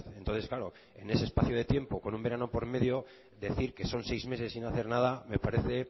entonces claro en ese espacio de tiempo con un verano por medio decir que son seis meses sin hacer nada me parece